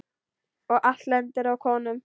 Og allt lendir á konum.